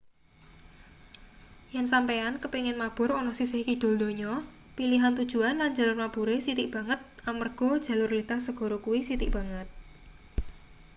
yen sampeyan kepingin mabur ana sisih kidul donya pilihan tujuan lan jalur mabure sithik banget amarga jalur lintas segara kuwi sithik banget